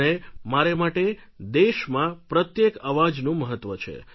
અને મારે માટે દેશમાં પ્રત્યેક અવાજનું મહત્વ છે